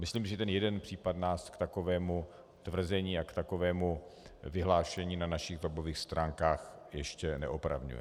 Myslím, že ten jeden případ nás k takovému tvrzení a k takovému vyhlášení na našich webových stránkách ještě neopravňuje.